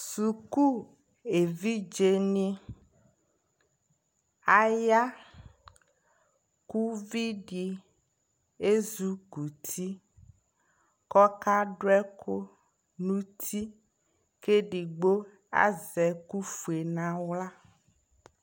Suku evidze ni ayaku vi di ezukuti kɔ ka du ɛku nu tiKɛ digbo azɛ ɛku fue na ɣla